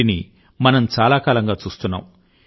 వీటిని మనం చాలా కాలంగా చూస్తున్నాం